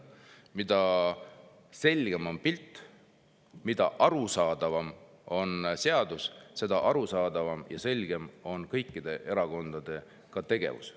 Mida selgem on pilt, mida arusaadavam on seadus, seda arusaadavam ja selgem on kõikide erakondade tegevus.